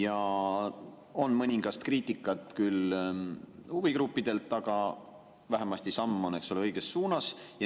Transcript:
On küll mõningast kriitikat huvigruppidelt, aga vähemasti on see samm õiges suunas.